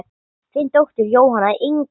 Þín dóttir Jóhanna Inga.